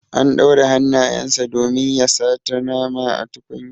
An ɗaure hannayen sa domin ya sata nama a tukunya.